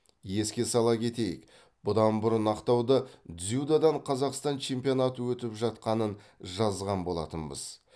еске сала кетейік бұдан бұрын ақтауда дзюдодан қазақстан чемпионаты өтіп жатқанын жазған болатынбыз